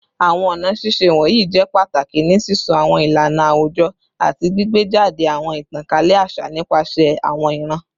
Awọn ọna ṣiṣe wọnyi jẹ pataki ni sisọ awọn ilana awujọ ati gbigbejade awọn itankalẹ aṣa nipasẹ awọn iran